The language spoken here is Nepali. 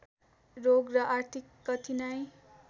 रोग र आर्थिक कठिनाइ